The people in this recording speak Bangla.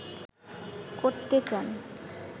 করতে চান